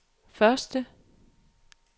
første